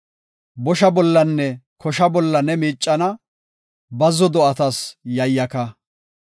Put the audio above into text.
Bosha bollanne kosha bolla ne miicana; bazzo do7atas yayyaka.